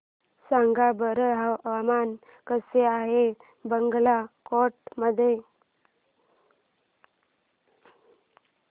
सांगा बरं हवामान कसे आहे बागलकोट मध्ये